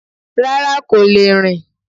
Rárá kò le rìn